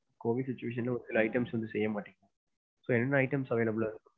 COVID situation ல ஒருசில items வந்து செய்ய மாட்டீங்க. so என்னென்ன items வந்து available ஆ இருக்கு?